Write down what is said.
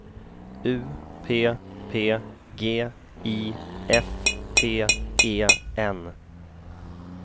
U P P G I F T E N